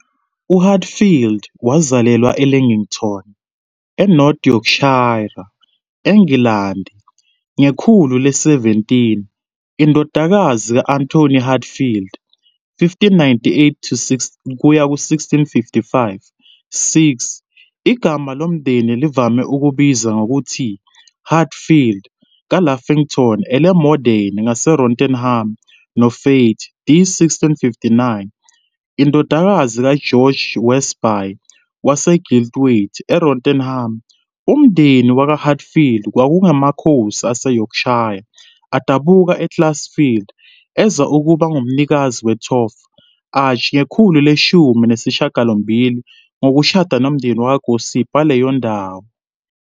UHatfield wazalelwa eLeighton, eNorth Yorkshire, eNgilandi ngekhulu le-17, indodakazi ka-Anthony Hatfield, 1598-1655-6, igama lomndeni livame ukubizwa ngokuthi "Hatfeild", kaLaughton-en-le-Morthen, ngaseRotherham, noFaith, d. 1659, indodakazi kaGeorge Westby, waseGilthwaite, eRotherham. Umndeni wakwaHatfield kwakungamakhosi aseYorkshire, adabuka e-Ecclesfield, eza ukuba ngumnikazi we-Thorp Arch ngekhulu leshumi nesishiyagalombili ngokushada nomndeni wakwaGossip waleyo ndawo.